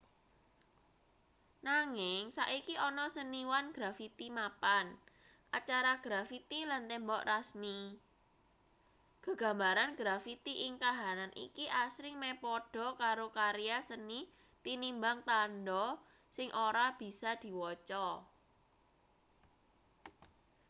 nanging saiki ana seniwan grafiti mapan acara grafiti lan tembok rasmi gegambaran grafiti ing kahanan iki asring meh padha karo karya seni tinimbang tandha sing ora bisa diwaca